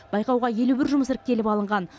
байқауға елу бір жұмыс іріктеліп алынған